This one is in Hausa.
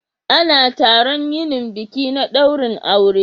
Ana taron yinin biki na dairin aure